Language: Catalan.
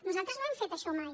nosaltres no hem fet això mai